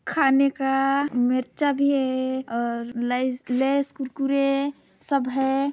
खाने का मिर्चा भी है और लेस -लेस कुरकुरे सब है।